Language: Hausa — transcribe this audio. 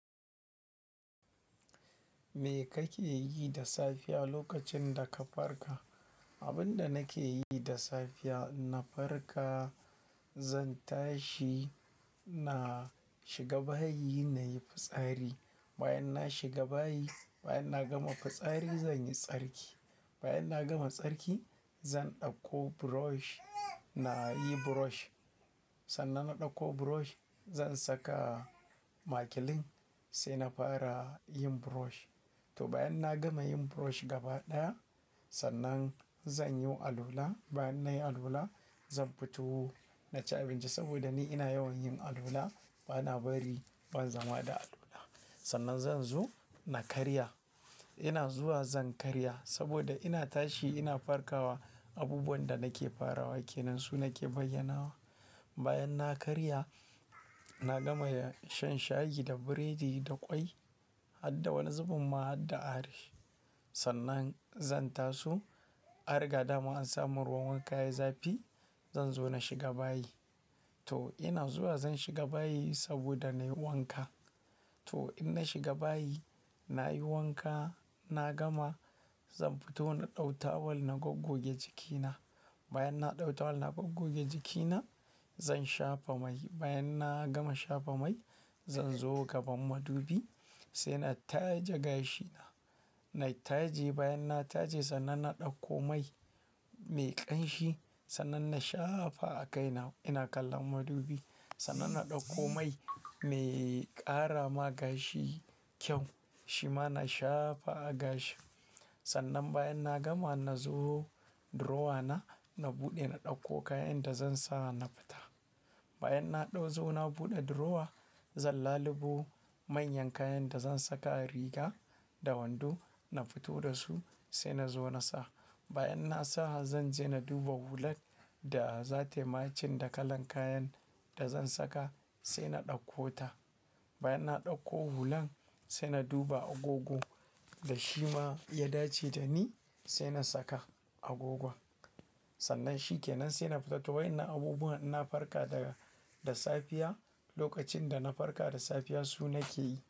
Me kake yi da safiya lokacin da ka farka? Abin da nake yi da safiya na farka, zan tashi, na shiga bayi na yi fitsari. Bayan na shiga bayi, bayan na gama fitsari zan yi tsarki. Bayan na gama tsarki zan ɗauko brush na yi brush. Sannan na ɗauko brush zan saka makilin sai na fara yin brush. To bayan na gama yin brush gaba ɗaya, sannan zan yi alola. Bayan na yi alola, zan fito na ci abinci saboda ni ina yawan yin alola, bana bari ban zama da alola. Sannan zan zo na karya. Ina zuwa zan karya saboda ina tashi ina farkawa abubuwan da nake farawa ke nan su nake bayyanawa. Bayan na karya, na gama shan shayi da biredi da ƙwai har da wani zubin ma har da ari. Sannan zan taso, arga dama in samu ruwan wanka ya zafi zan zo na shiga bayi. To ina zuwa zan shiga bayi saboda na yi wanka. To in na shiga bayi, na yi wanka, na gama, zan fito na ɗauka tawul na goggoge jikina. Bayan na ɗauka tawul na goggoge jikina, zan shafa mai. Bayan na gama shafa mai, zan zo gaban madubi sai na taje gashina. Na taje bayan na taje sannan na ɗauko mai mai ƙanshi sannan na shafa a kaina. Ina kallon madubi sannan na ɗauko mai mai ƙara ma gashi kyau shi ma na shafa a gashi. Sannan bayan na gama na zo drawer na, na buɗe na ɗauko kayan da zan sa na fita. Bayan na ɗauzo na buɗe drawer, zan lalube manyan kayan da zan saka riga da wando na fito da su sai na zo na sa. Bayan na sa zan je na duba hulan da za ta yi matching da kalan kayan da zan saka sai na ɗauko ta. Bayan na ɗauko hulan sai na duba agogo da shi ma ya dace da ni sai na saka agogon. Sannan shi ke nan sai na fita. To wai na abubuwan na farka daga da safiya lokacin da na farka da safiya su nake yi.